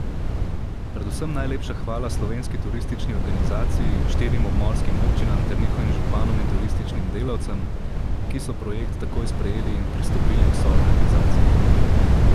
Predvsem najlepša hvala Slovenski turistični organizaciji, štirim obmorskim občinam ter njihovim županom in turističnim delavcem, ki so projekt takoj sprejeli in pristopili k soorganizaciji.